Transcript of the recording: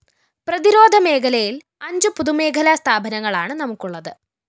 പ്രതിരോധ മേഖലയില്‍അഞ്ചു പൊതുമേഖലാ സ്ഥാപനങ്ങളാണ്‌ നമുക്കുള്ളത്‌